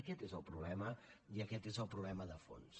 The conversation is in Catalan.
aquest és el problema i aquest és el problema de fons